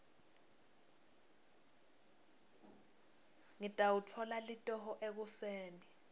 ngitawutfola litoho ekuseni